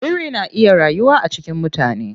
Biri na iya rayuwa a cikin mutane.